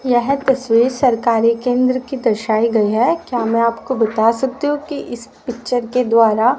यह तस्वीर सरकारी केंद्र की दर्शाई गई है क्या मै आपको बता सकती हूं कि इस पिक्चर के द्वारा--